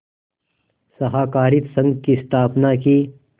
सहाकारित संघ की स्थापना की